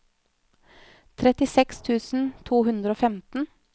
trettiseks tusen to hundre og femten